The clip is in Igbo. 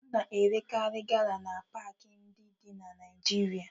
A na-erekarị gala na paakị ndị dị na Naịjirịa